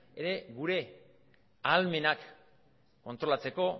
ere gure ahalmenak kontrolatzeko